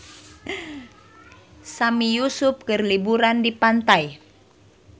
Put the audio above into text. Sami Yusuf keur liburan di pantai